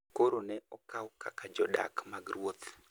koro ne okaw kaka jodak mag ruoth